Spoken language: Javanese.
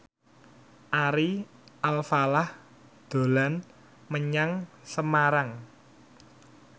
Ari Alfalah dolan menyang Semarang